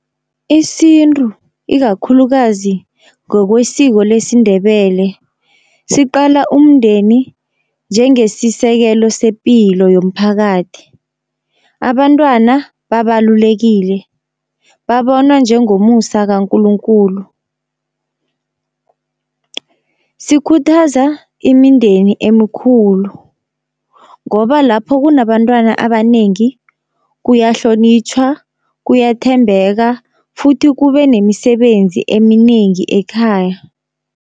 Isintu ikakhulukazi ngokwesiko lesiNdebele siqala umndeni njengesisekelo sepilo yomphakathi. Abantwana babalulekile babonwa njengomusa kaNkulunkulu. Sikhuthaza imindeni emikhulu ngoba lapho kunabantwana abanengi kuyahlonitjhwa, kuyathembeka futhi kube nemisebenzi eminengi ekhaya.